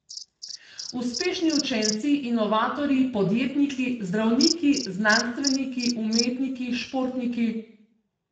Uspešni učenci, inovatorji, podjetniki, zdravniki, znanstveniki, umetniki, športniki ...